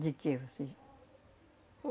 De quê? Você